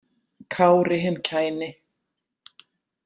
Kári hinn kæni.